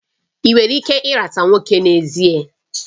Ị nwere ike ịrata nwoke n'ezie?